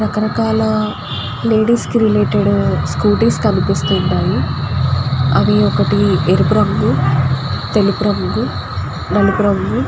రక రకాల లేడీస్ కి రిలేటెడ్ స్కూటీస్ కనిపిస్తూ ఉన్నాయి. అవి ఒకటి ఎరుపు రంగు తెలుపు రంగు నలుపు రంగు--